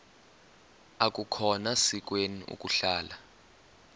akukhona sikweni ukuhlala